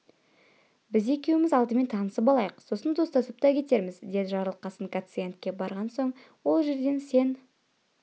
біз екеуміз алдымен танысып алайық сосын достасып та кетерміз деді жарылқасын гациендке барған соң ол жерден сен